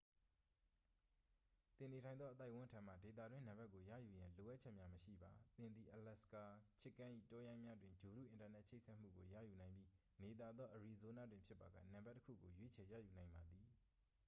သင်နေထိုင်သောအသိုက်အဝန်းထံမှ ဒေသတွင်းနံပါတ်ကိုရယူရန် လိုအပ်ချက်များမရှိပါ သင်သည် အလာစကာ chicken ၏တောရိုင်းများတွင် ဂြိုလ်တုအင်တာနက်ချိတ်ဆက်မှုကို ရယူနိုင်ပြီး နေသာသောအရီဇိုးနားတွင်ဖြစ်ပါက နံပါတ်တစ်ခုကို ရွေးချယ်ရယူနိုင်ပါသည်